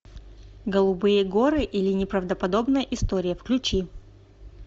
голубые горы или неправдоподобная история включи